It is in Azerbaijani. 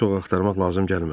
Balığı çox axtarmaq lazım gəlmədi.